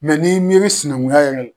n'i miiri sinankunya yɛrɛ l